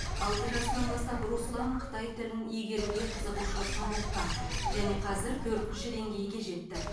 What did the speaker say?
алты жасынан бастап руслан қытай тілін үйренуге қызығушылық танытқан және қазір төртінші деңгейге жетті